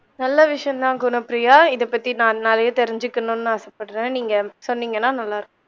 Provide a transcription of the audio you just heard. நல்ல விஷயம் தான் குணப்பிரியா இத பத்தி நான் நிறைய தெரிஞ்சிக்கநுன்னு ஆசப்படறேன் நீங்க சொல்லிங்கண்ணா நல்லா இருக்கும்